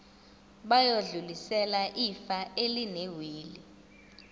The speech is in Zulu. bayodlulisela ifa elinewili